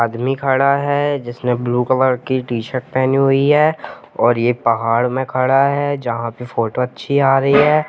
आदमी खड़ा है जिसने ब्लू कलर की शर्ट पहनी है और यह पहाड़ में खड़ा है जहां पर फोटो अच्छी आ रही है।